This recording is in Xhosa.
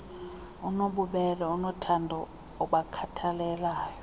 onobubele onothando obakhathalelayo